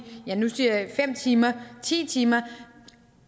fem timer i ti timer